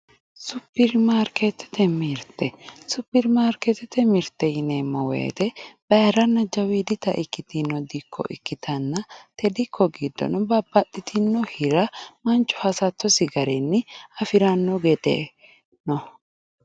supperimarkeettete mirte supperimarkeetete mirte yineemmo woyiite bayiiranna jawiidita ikitino dikko ikkitanna te dikko giddono manchu babbaxxino hira hasattosi garinni afirannoti no